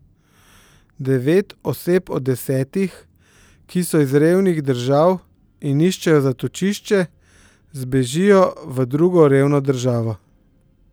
Devet oseb od desetih, ki so iz revnih držav in iščejo zatočišče, zbežijo v drugo revno državo.